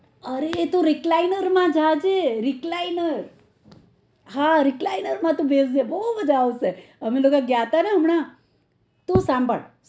અરે તું recliner માં જાજે recliner હા recliner માં તુ બેસજે બઉ મજા આવશે અમે લોકો ગયાં ને હમના તું સંભાળ